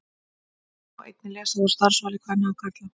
Þetta má einnig lesa út úr starfsvali kvenna og karla.